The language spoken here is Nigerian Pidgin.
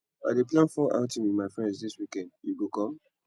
i dey plan fun outing wit my friends dis weekend you go come